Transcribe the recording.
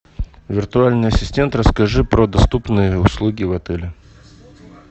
виртуальный ассистент расскажи про доступные услуги в отеле